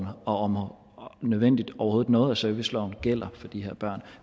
om overhovedet noget af serviceloven gælder for de her børn